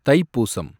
Thaipusam